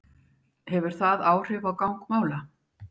Hefur það áhrif á gang mála?